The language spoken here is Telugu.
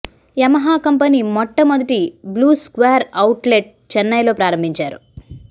యమహా కంపెనీ మొట్టమొదటి బ్లూ స్క్వేర్ అవుట్లెట్ చెన్నైలో ప్రారంభించారు